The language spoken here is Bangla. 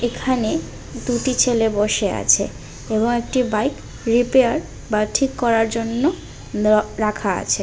এখানে দুটি ছেলে বসে আছে এবং একটি বাইক রিপেয়ার বা ঠিক করার জন্য দেওয়া রাখা আছে।